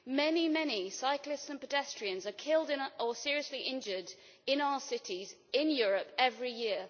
Many, many cyclists and pedestrians are killed or seriously injured in our cities in Europe every year.